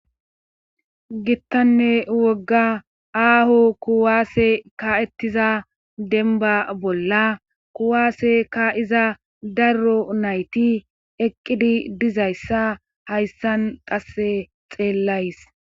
gittanne wogga aaho kuwaasse ka7ettiza denba bolla kuwaase ka iza darro nayti eqqidi dizayssa hayssan qasse xeellays